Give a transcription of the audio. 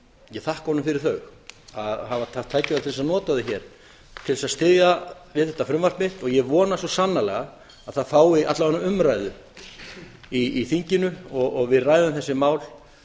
ég þakka honum fyrir þau að hafa haft tækifæri til þess að nota þau hér til þess að styðja við frumvarpið ég vona svo sannarlega að það fái alla vega umræðu í þinginu og við ræðum þessi mál